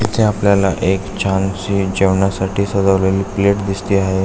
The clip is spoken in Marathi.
इथे आपल्याला एक छानशी जेवणासाठी सजवलेली प्लेट दिसती आहे.